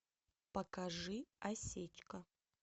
покажи осечка